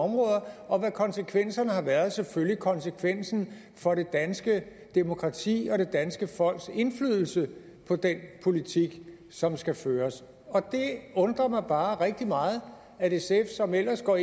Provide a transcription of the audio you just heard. områder og hvad konsekvenserne har været selvfølgelig konsekvensen for det danske demokrati og det danske folks indflydelse på den politik som skal føres det undrer mig bare rigtig meget at sf som ellers går